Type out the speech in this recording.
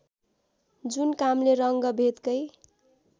जुन कामले रङ्गभेदकै